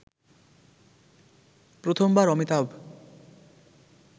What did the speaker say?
প্রথমবার অমিতাভ